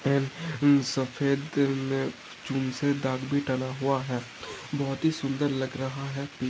सफ़ेद मे चुनसे डाग भी टना हुआ है बहुत ही सुंदर लग रहा है।